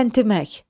Təntimək.